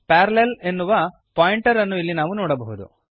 parallel ಎನ್ನುವ pointer ಅನ್ನು ಇಲ್ಲಿ ನಾವು ನೋಡಬಹುದು